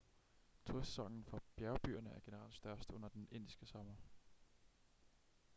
turistsæsonen for bjergbyerne er generelt størst under den indiske sommer